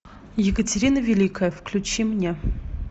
екатерина великая включи мне